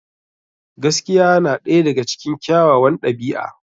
Gaskiya na ɗaya daga cikin kyawawan ɗabi'a.